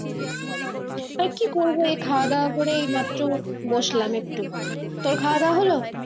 হ্যাঁ কি করবো এই খাওয়া দাওয়া করে এই মাত্র বসলাম একটু, তোর খাওয়া হলো?